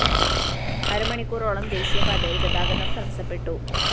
അരമണിക്കൂറോളം ദേശീയപാതയില്‍ ഗതാഗതം തടസ്സപ്പെട്ടു